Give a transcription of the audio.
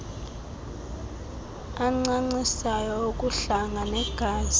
ancancisayo ukuhlanga negazi